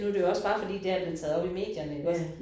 Nu er det jo også bare fordi det her er blevet taget op i medierne iggås